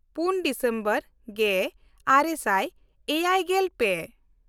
ᱯᱩᱱ ᱰᱤᱥᱮᱢᱵᱚᱨ ᱜᱮᱼᱟᱨᱮ ᱥᱟᱭ ᱮᱭᱟᱭᱜᱮᱞ ᱯᱮ